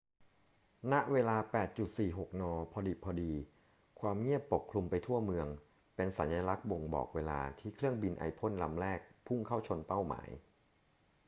ณ เวลา 8.46 น พอดิบพอดี ความเงียบปกคลุมไปทั่วเมือง เป็นสัญลักษณ์บ่งบอกเวลาที่เครื่องบินไอพ่นลำแรกพุ่งเข้าชนเป้าหมาย